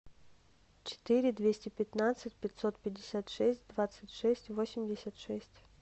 четыре двести пятнадцать пятьсот пятьдесят шесть двадцать шесть восемьдесят шесть